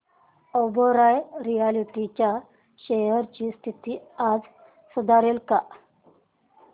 Oberoi realty च्या shares ची स्थिती आज सुधारेल का